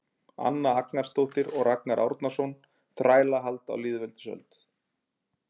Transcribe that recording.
Anna Agnarsdóttir og Ragnar Árnason: Þrælahald á þjóðveldisöld